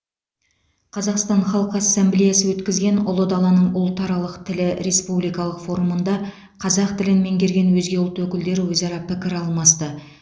қазақстан халқы ассамблеясы өткізген ұлы даланың ұлтаралық тілі республикалық форумында қазақ тілін меңгерген өзге ұлт өкілдері өзара пікір алмасты